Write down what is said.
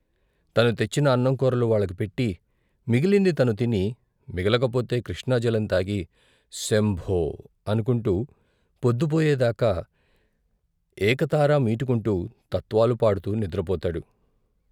తను తెచ్చిన అన్నం కూరలు వాళ్ళకు పెట్టి, మిగిలింది తనుతిని, మిగలకపోతే కృష్ణాజలం తాగి శంభో అనుకుంటూ పొద్దుపోయే దాకా ఏకతారమీటుకుంటూ తత్వాలు పాడుతూ నిద్రపోతాడు.